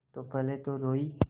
तब पहले तो रोयी